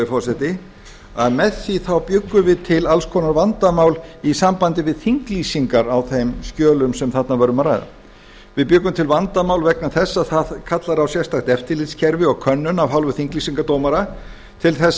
forseti að með því bjuggum við til alls konar vandamál í sambandi við þinglýsingar á þeim skjölum sem þarna var um að ræða við bjuggum til vandamál vegna þess að það kallar á sérstakt eftirlitskerfi og könnun af hálfu þinglýsingadómara til